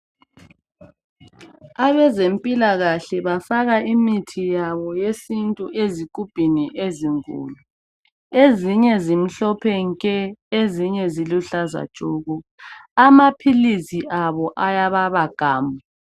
Abezempilakahle bafaka imithi yabo yesintu ezigubhini ezinkulu , ezinye zimhlophe nke , ezinye ziluhlaza tshoko , amaphilisi abo ayababa gamu.